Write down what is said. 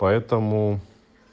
поэтому